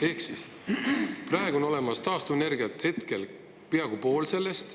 Ehk siis, praegu on taastuvenergia olemas peaaegu poole ulatuses vajadusest.